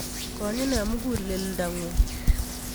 Konyi ne muguleldo'nguk